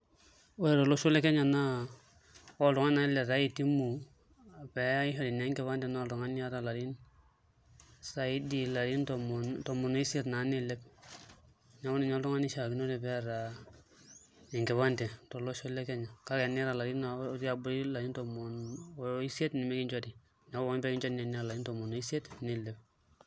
Ore tolosho lekenya na ore oltungani nataa itumu peishori enkipande na oltungani oota larin saidi larin tomon oirmsiet nilep neakubninye oltungani oishaakinore peeta enkipande tolosho le Kenya kake teniata otii abori larin tomon oisiet nemimekinchori neaku ore pokin piata teniata larin tomon oisiet nilep.